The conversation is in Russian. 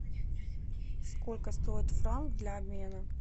сколько стоит франк для обмена